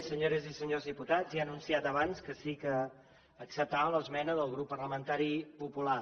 senyores i senyors diputats ja he anunciat abans que sí que acceptava l’esmena del grup parlamentari popular